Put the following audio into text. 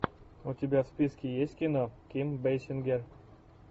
у тебя в списке есть кино ким бейсингер